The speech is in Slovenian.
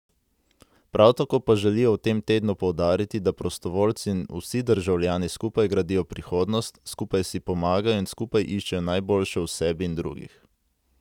Prav tako pa želijo v tem tednu poudariti, da prostovoljci in vsi državljani skupaj gradijo prihodnost, skupaj si pomagajo in skupaj iščejo najboljše v sebi in drugih.